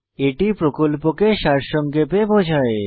এটি প্রকল্পকে সারসংক্ষেপে বোঝায়